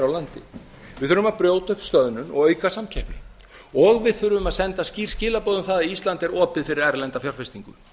landi við þurfum að brjóta upp stöðnun og auka samkeppni og við þurfum að senda skýr skilaboð um það að ísland er opið fyrir erlenda fjárfestingu